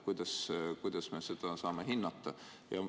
Kuidas me seda saame hinnata?